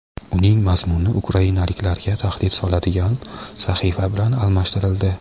uning mazmuni ukrainaliklarga tahdid soladigan sahifa bilan almashtirildi.